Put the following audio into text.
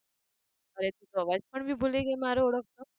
અરે તું તો અવાજ પણ બી ભૂલી ગઈ મારો ઓળખતો